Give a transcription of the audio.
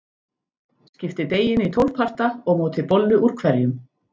Skiptið deiginu í tólf parta og mótið bollu úr hverjum.